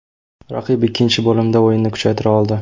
Raqib ikkinchi bo‘limda o‘yinini kuchaytira oldi.